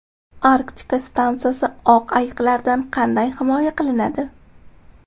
Arktika stansiyasi oq ayiqlardan qanday himoya qilinadi?.